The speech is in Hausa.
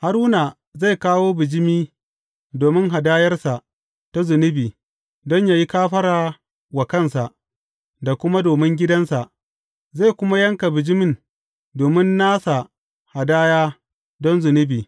Haruna zai kawo bijimi domin hadayarsa ta zunubi don yă yi kafara wa kansa da kuma domin gidansa, zai kuma yanka bijimin domin nasa hadaya don zunubi.